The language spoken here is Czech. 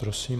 Prosím.